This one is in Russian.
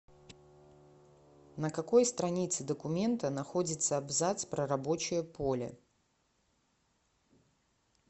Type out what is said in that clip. на какой странице документа находится абзац про рабочее поле